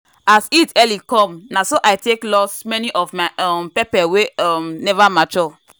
as heat early come na so i take loss many of my um pepper wey um never mature.